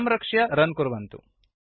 संरक्ष्य रन् कुर्वन्तु